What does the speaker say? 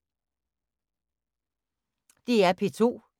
DR P2